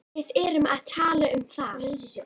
Við erum að tala um það!